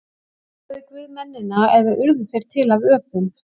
Skapaði Guð mennina eða urðu þeir til af öpum?